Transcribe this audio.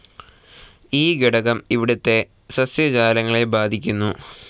ഈ ഘടകം ഇവിടത്തെ സസ്യജാലങ്ങളെ ബാധിക്കുന്നു.